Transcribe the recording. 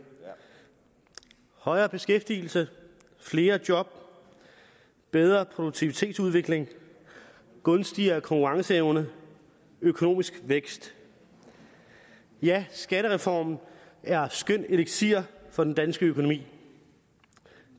højere beskæftigelse flere job bedre produktivitetsudvikling gunstigere konkurrenceevne økonomisk vækst ja skattereformen er skøn eliksir for den danske økonomi